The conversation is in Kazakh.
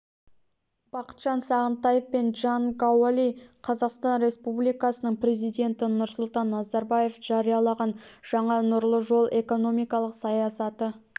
бақытжан сағынтаев пен чжан гаоли қазақстан республикасының президенті нұрсұлтан назарбаев жариялаған жаңа нұрлы жол экономикалық саясаты